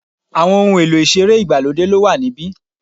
Àwọn ohun èlò ìṣeré ìgbàlódé ló wà níbí.